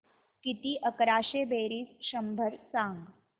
किती अकराशे बेरीज शंभर सांग